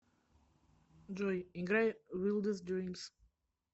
джой играй вилдест дримс